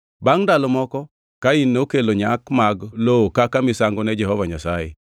Bangʼ ndalo moko Kain nokelo nyak mag lowo kaka misango ne Jehova Nyasaye.